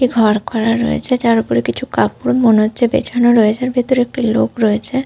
একটি ঘর করা রয়েছে যার ওপরে কিছু কাপড় মনে হচ্ছে বিছানো রয়েছে। আর ভেতরে একটি লোক রয়েছে।